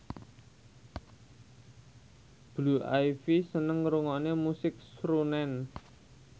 Blue Ivy seneng ngrungokne musik srunen